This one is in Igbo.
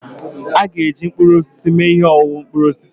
Ha ga-eji mkpụrụ osisi eme ihe ọṅụṅụ mkpụrụ osisi